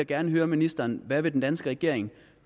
gerne høre ministeren hvad vil den danske regering